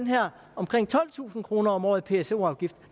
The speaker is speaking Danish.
her omkring tolvtusind kroner om året i pso afgift